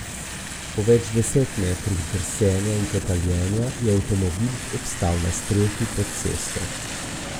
Po več deset metrih drsenja in kotaljenja je avtomobil obstal na strehi pod cesto.